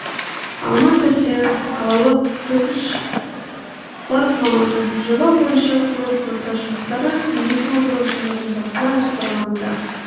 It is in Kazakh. алмас сәрсенов қалалық түкш бас маманы жоба бойынша құрылыс монтаж жұмыстары екі мың он тоғызыншы жылдың басына жоспарлануда